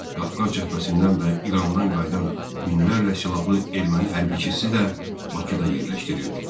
Qafqaz cəbhəsindən və İrandan qayıdan minlərlə silahlı erməni hərbçisi də Bakıda yerləşdirildi.